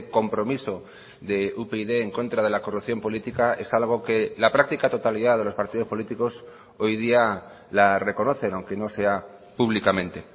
compromiso de upyd en contra de la corrupción política es algo que la práctica totalidad de los partidos políticos hoy día la reconocen aunque no sea públicamente